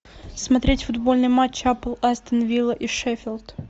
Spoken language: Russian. смотреть футбольный матч апл астон вилла и шеффилд